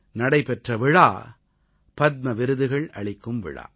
நடைபெற்ற விழா பத்ம விருதுகள் அளிக்கும் விழா